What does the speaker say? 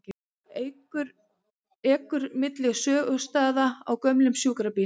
Ekur milli sögustaða á gömlum sjúkrabíl